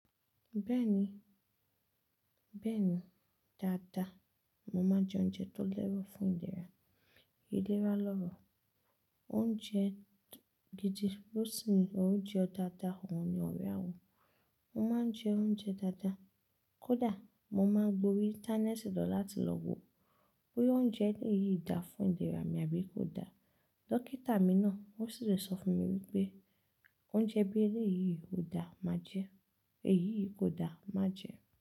Bẹ́ẹ̀ni, bẹ́ẹ̀ni dáadáa. Mo máa ń jẹ oúnjẹ tó lẹ́rọ̀ fún ìlera. Ìlera lọ́rọ̀, oúnjẹ gidi bó ti ń òúnjẹ dáadáa, òun ni ọ̀rẹ́ a wo. Mo máa ń jẹ oúnjẹ dáadáa. Kódà mo máa ń gb'orí Íńtánẹ́ẹ̀tì lọ láti lọ wo bóyá oúnjẹ eléyìí dáa fún ìlera mi àbí kò da. Dọ́kítà mi náà ó sì ti sọ fún mi wípé oúnjẹ bí eléyìí ò da má jẹ́, èyí yìí kò da má jẹ.